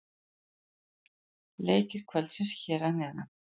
Leikir kvöldsins hér að neðan: